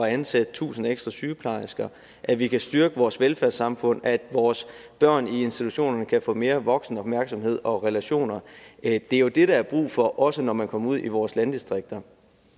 at ansætte tusind ekstra sygeplejersker at vi kan styrke vores velfærdssamfund og at vores børn i institutionerne kan få mere voksenopmærksomhed og relationer det er jo det der er brug for også når man kommer ud i vores landdistrikter